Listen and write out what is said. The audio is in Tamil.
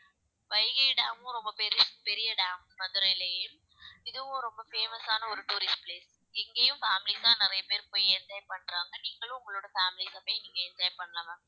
வைகை டேமும் ரொம்ப பெருசு பெரிய dam மதுரையிலேயே இதுவும் ரொம்ப famous ஆன ஒரு tourist place இங்கேயும் families தான் நிறைய பேர் போய் enjoy பண்றாங்க நீங்களும் உங்களோட families அ போய் நீங்க enjoy பண்ணலாம் ma'am